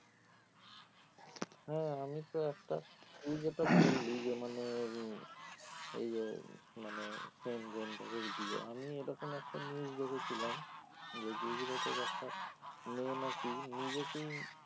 হ্যাঁ আমি তো একটা তুই যেটা বললি যে মানে উম এই যে মানে same gender এর বিয়ে আমি এইরকম একটা news দেখেছিলাম যে গুজরাট এর একটা মেয়ে নাকি নিজেকেই